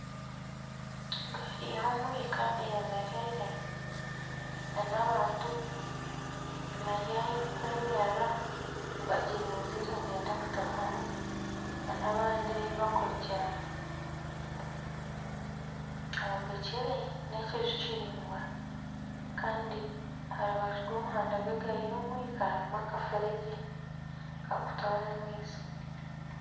Egaari y'omwika eyemereire n'abantu bari ahu ekwemerera bagirizire nibenda kutaahamu n'abandi ahu bakurugiramu, hombekire n'ekiju kiraingwa kandi aha rubaju rw'omuhanda gw'egaari y'omwika harimu akafuregye kakutwara amaizi.